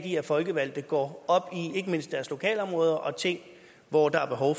i at folkevalgte går op i ikke mindst deres lokalområder og ting hvor der er behov